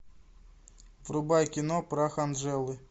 врубай кино прах анджелы